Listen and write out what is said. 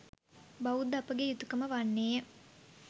බෞද්ධ අපගේ යුතුකම වන්නේය.